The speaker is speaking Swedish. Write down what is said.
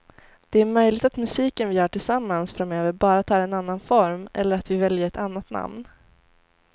Det är möjligt att musiken vi gör tillsammans framöver bara tar en annan form eller att vi väljer ett annat namn.